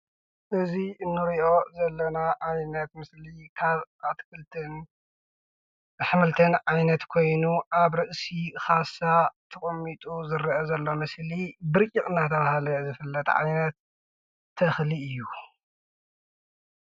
እዙይ እንርእዮ ዘለና ዓይነት ምስሊ ካብ ኣትክልቲን ኣሕምልቲን ዓይነት ኮይኑ ኣብ ርእሲ ኻሳ ተቀሚጡ ዝርአ ዘሎ ምስሊ ብርጭቅ እናተባህለ ዝፍለጥ ዓይነት ተኽሊ እዩ።